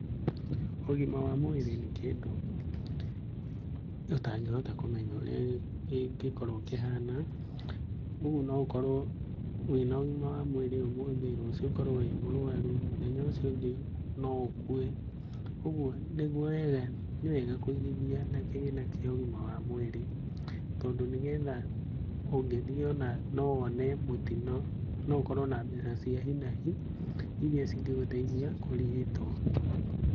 Ũgima wa mwĩrĩ nĩ kĩndũ tũtangĩhota kũmenya ũrĩa kĩngĩkorũo kĩhana, ũguo noũkorũo wĩna ũgima wa mwĩrĩ ũmũthĩ rũciũ ũkorũo wĩ mũrwaru mũthenya ũcio ũngĩ noũkue, ũguo nĩwega kũigithia na kĩgĩna kĩa ũgima wa mwĩrĩ tondũ nĩgetha ũgĩthiĩ ona nowone mũtino naũkorũo na mbeca cia hi na hi, iria cingĩgũteithia kũrigitũo.